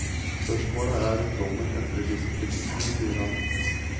Spørsmålet er om dommen endrer disse premissene, sier han.